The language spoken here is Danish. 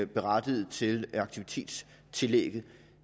berettiget til aktivitetstillægget